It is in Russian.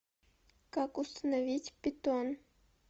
как установить питон